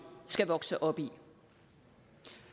skal vokse op i